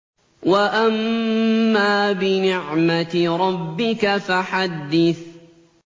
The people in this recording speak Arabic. وَأَمَّا بِنِعْمَةِ رَبِّكَ فَحَدِّثْ